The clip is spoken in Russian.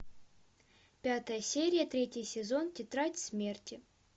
пятая серия третий сезон тетрадь смерти